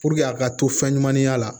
a ka to fɛn ɲumaninya la